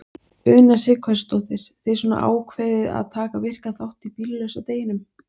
Una Sighvatsdóttir: Þið svona ákveðið að taka virkan þátt í bíllausa deginum?